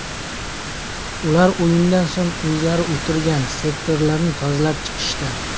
Ular o‘yindan so‘ng o‘zlari o‘tirgan sektorlarni tozalab chiqishdi.